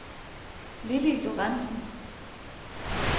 Lilli Lorentzen